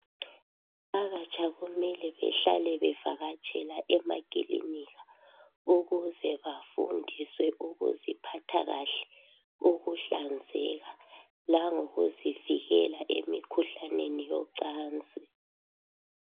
Abatsha kumele behlale bevakatshela emakilinika ukuze bafundiswe ukuziphatha kahle, ukuhlanzeka langokuzivikela emikhuhlaneni yocansi.